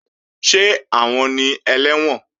Ṣé àwọn ni ẹlẹ́wọ̀n?